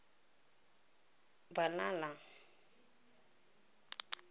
valhalla